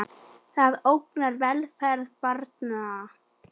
Það ógnar velferð barna.